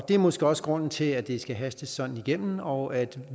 det er måske også grunden til at det skal hastes sådan igennem og og at